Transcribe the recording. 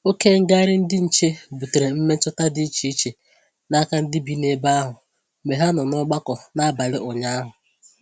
Oke ngagharị ndị nche butere mmetụta dị iche iche n'aka ndị bi ebe ahụ mgbe ha nọ n'ọgbakọ n'abalị ụnyaahụ